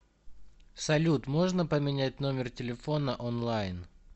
салют можно поменять номер телефона онлайн